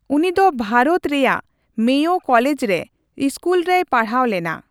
ᱩᱱᱤ ᱫᱚ ᱵᱷᱟᱨᱚᱛ ᱨᱮᱭᱟᱜ ᱢᱮᱭᱳ ᱠᱚᱞᱮᱡᱽ ᱨᱮ ᱤᱥᱠᱩᱞ ᱨᱮᱭ ᱯᱟᱲᱦᱟᱣ ᱞᱮᱱᱟ ᱾